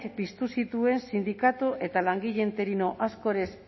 piztu zituen sindikatu eta langile interino